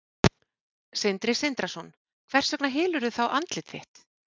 Sindri Sindrason: Hvers vegna hylurðu þá andlit þitt?